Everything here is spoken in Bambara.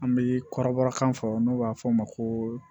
An bɛ kɔrɔbɔrɔkan fɔ n'o b'a fɔ o ma ko